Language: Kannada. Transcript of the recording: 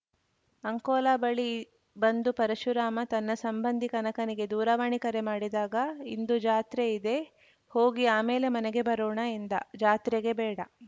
ಅಂಕೋಲಾ ಬಳಿ ಬಂದು ಪರಶುರಾಮ ತನ್ನ ಸಂಬಂಧಿ ಕನಕನಿಗೆ ದೂರವಾಣಿ ಕರೆ ಮಾಡಿದಾಗ ಇಂದು ಜಾತ್ರೆ ಇದೆ ಹೋಗಿ ಆಮೇಲೆ ಮನೆಗೆ ಬರೋಣ ಎಂದ ಜಾತ್ರೆಗೆ ಬೇಡ